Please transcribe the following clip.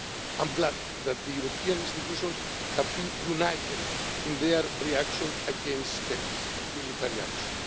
I am glad that the European Institutions have been united in their reaction against Turkey's military action.